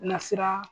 Nasira